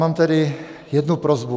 Mám tedy jednu prosbu.